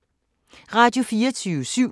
Radio24syv